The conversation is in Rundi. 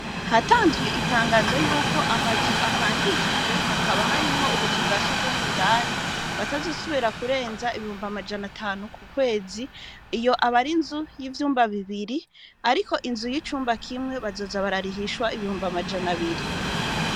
Hatanzwe itangazo ry'uko amazu apangishijwe hakaba harimwo utuzu twa surwumwe indani, batazosubira kurenza ibihumbi amajana atanu ku kwezi. Iyo aba ari inzu y' ivyumba bibiri ariko inzu y'icumba kimwe bazoza bararihishwa ibihumbi amajana abiri.